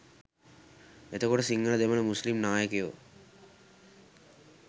එතකොට සිංහල දෙමළ මුස්ලිම් නායකයො